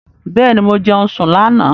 Bẹ́ẹ̀ni, mo jẹun sùn lánà